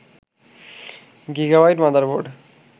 gigabyte motherboard